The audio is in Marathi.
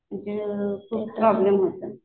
खूप प्रॉब्लेम होतात.